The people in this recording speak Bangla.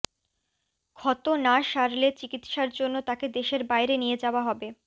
ক্ষত না সারলে চিকিৎসার জন্য তাকে দেশের বাইরে নিয়ে যাওয়া হবে